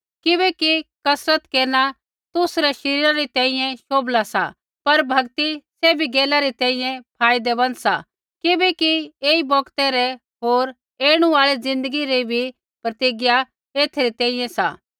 किबैकि कसरत केरना तुसरै शरीरा री तैंईंयैं शोभला सा पर भक्ति सैभी गैला री तैंईंयैं फायदैमँद सा किबैकि ऐई बौगतै रै होर ऐणु आल़ी ज़िन्दगी री भी प्रतिज्ञा एथै री तैंईंयैं सा